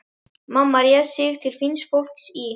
Mamma réð sig til fíns fólks í